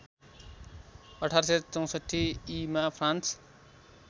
१८६४ ईमा फ्रान्स